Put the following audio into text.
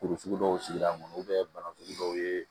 Kurusugu dɔw sigira n kɔnɔ bana sugu dɔw ye